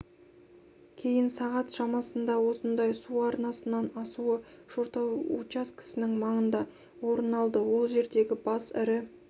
кейін сағат шамасында осындай су арнасынан асуы шортай учаскесінің маңында орын алды ол жердегі бас ірі